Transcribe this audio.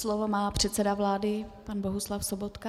Slovo má předseda vlády pan Bohuslav Sobotka.